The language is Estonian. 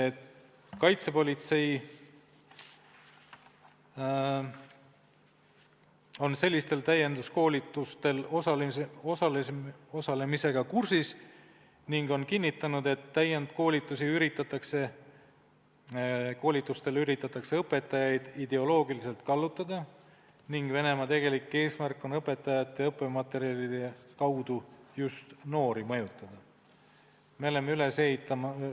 Kaitsepolitsei on sellistel täienduskoolitustel osalemisega kursis ning on kinnitanud, et koolitustel üritatakse õpetajaid ideoloogiliselt kallutada ning Venemaa tegelik eesmärk on õpetajate ja õppematerjalide kaudu mõjutada just noori.